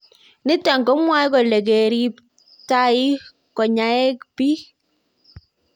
Niton komwae kole, kerip tiayik ko nyaeng pik